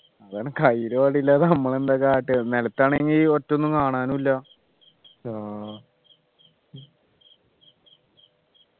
അതാണ് കയ്യിൽ വടിയില്ലാത്ത നമ്മൾ എന്താ കാട്ടാ നിലത്താണെങ്കിൽ ഒറ്റൊന്നും കാണാനും ഇല്ല